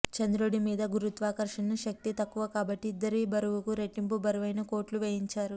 చంద్రుడి మీద గురుత్వాకర్షణ శక్తి తక్కువ కాబట్టి ఇద్దరి బరువుకు రెట్టింపు బరువైన కోట్లు వేయించారు